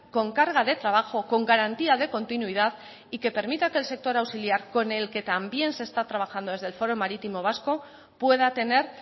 con carga de trabajo con garantía de continuidad y que permita que el sector auxiliar con el que también se está trabajando desde el foro marítimo vasco pueda tener